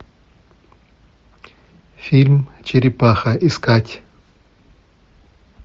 фильм черепаха искать